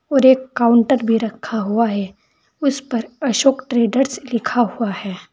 और एक काउंटर भी रखा हुआ है उसे पर अशोक ट्रेडर्स लिखा हुआ है।